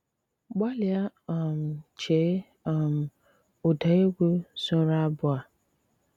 Gbálíá um chéé um ụ́dá égwú sóró ábụ́ á!